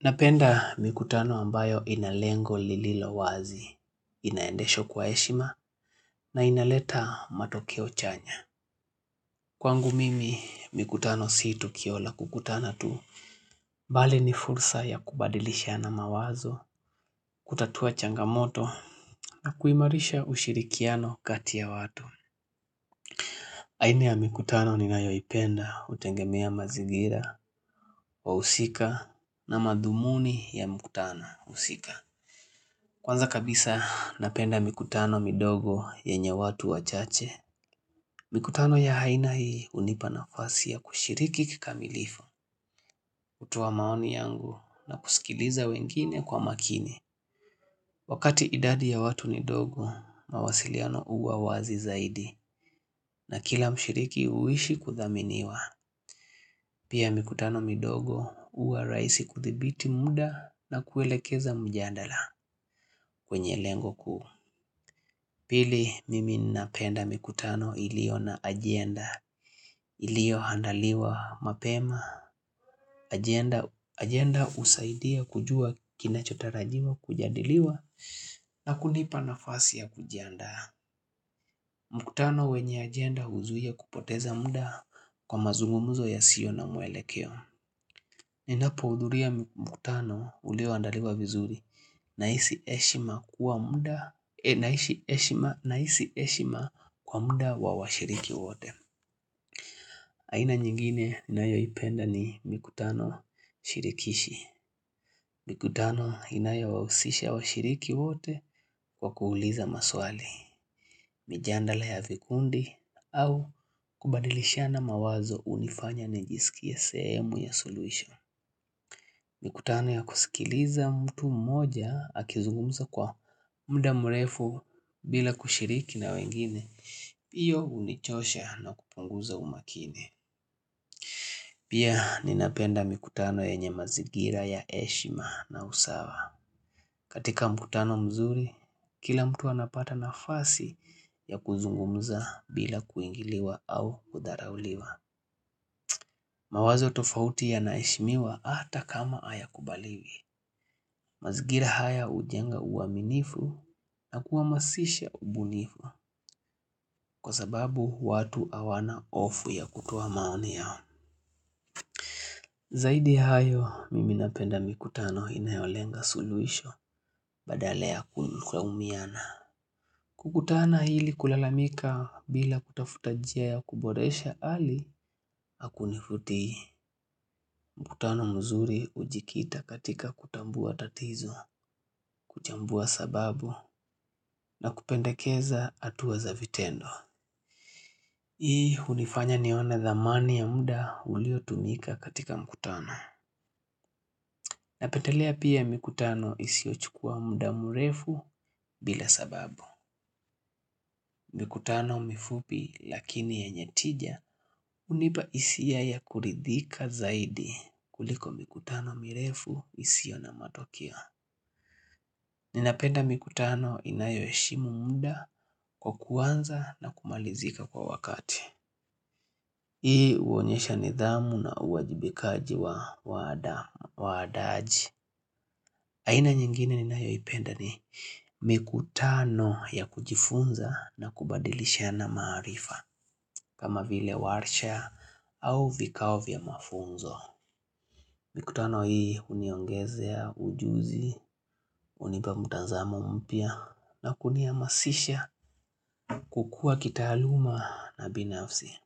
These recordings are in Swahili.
Napenda mikutano ambayo inalengo lililo wazi, inaendesho kwa heshima na inaleta matokeo chanya. Kwangu mimi mikutano sio tukio la kukutana tu. Bali ni fursa ya kubadilishana mawazo, kutatua changamoto na kuimarisha ushirikiano kati ya watu. Aina ya mikutano ninayoipenda hutengemea mazigira, wahusika na madhumuni ya mikutano husika. Kwanza kabisa napenda mikutano midogo yenye watu wachache. Mikutano ya haina hii hunipa nafasi ya kushiriki kikamilifu, kutoa maoni yangu na kusikiliza wengine kwa makini. Wakati idadi ya watu ni dogo, mawasiliano huwa wazi zaidi na kila mshiriki huishi kudhaminiwa. Pia mikutano midogo huwa rahisi kudhibiti muda na kuelekeza mjadala kwenye lengo kuu. Pili mimi napenda mikutano ilio na ajenda ilio andaliwa mapema. Ajenda husaidia kujua kinachotarajiwa kujadiliwa na kunipa nafasi ya kujiandaa. Mkutano wenye ajenda huzuia kupoteza muda kwa mazungumuzo yasio na mwelekeo. Ninapo hudhulia mikutano ulioandaliwa vizuri nahisi heshima na hisi heshima kwa muda wa washiriki wote. Aina nyingine ninayoipenda ni mikutano shirikishi. Mikutano inayo wahusisha washiriki wote kwa kuuliza maswali. Mijadala ya vikundi au kubadilishana mawazo hunifanya nijisike seemu ya solution. Mikutano ya kusikiliza mtu mmoja akizungumza kwa muda mrefu bila kushiriki na wengine. Hiyo hunichosha na kupunguza umakini. Pia ninapenda mikutano yenye mazingira ya heshima na usawa. Katika mikutano mzuri, kila mtu anapata nafasi ya kuzungumza bila kuingiliwa au kudharauliwa. Mawazo tofauti yanaisheshimiwa hata kama haya kubaliwi. Mazingira haya hujenga uaminifu na kuhamasisha ubunifu kwa sababu watu hawana hofu ya kutoa maoni yao. Zaidi ya hayo, mimi napenda mikutano inayolenga suluhisho badala ya kulaumiana. Kukutana hili kulalamika bila kutafuta njia ya kuboresha hali hakunivutii. Mkutano mzuri ujikita katika kutambua tatizo, kuchambua sababu, na kupendakeza hatua za vitendo. Hii hunifanya nione dhamani ya muda ulio tumika katika mkutano. Napetelea pia mikutano isio chukua muda mrefu bila sababu. Mkutano mifupi lakini yanye tija hunipa hisia ya kuridhika zaidi kuliko mkutano mirefu isio na matokeo. Ninapenda mikutano inayo heshimu muda kwa kuanza na kumalizika kwa wakati. Hii huonyesha nidhamu na uajibikaji wa waandaji. Aina nyingine ninayoipenda ni mikutano ya kujifunza na kubadilishana maarifa. Kama vile warsha au vikao vya mafunzo. Mikutano hii huniongezea ujuzi, hunipa mtazamo mpya na kuniamasisha kukua kitaaluma na binafsi.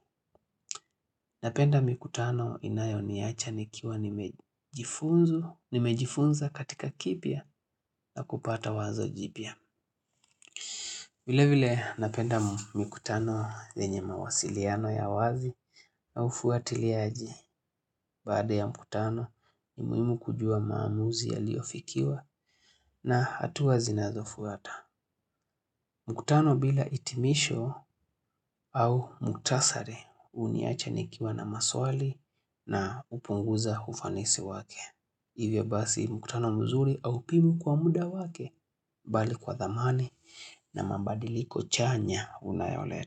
Napenda mikutano inayoniacha nikiwa nimejifunza katika kipya na kupata wazo jipya. Vile vile napenda mikutano zenye mawasiliano ya wazi na ufuatiliaji. Baada ya mkutano ni muhimu kujua maamuzi yaliofikiwa na hatua zinazofuata. Mkutano bila hitimisho au muktasari huniacha nikiwa na maswali na hupunguza ufanisi wake. Hivyo basi mkutano mzuri au pibu kwa muda wake bali kwa dhamani na mabadiliko chanya unayoleta.